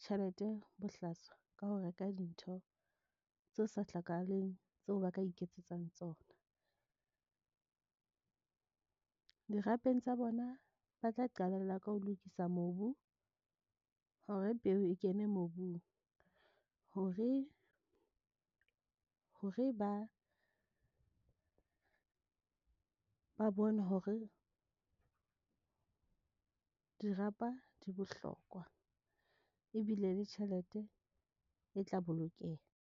tjhelete bohlaswa ka ho reka dintho tse sa hlokahaleng tseo ba ka iketsetsang tsona dirapeng tsa bona ba tla qalella ka ho lokisa mobu hore peo e kene mobung hore ba bone hore dirapa di bohlokwa ebile le tjhelete e tla bolokeha.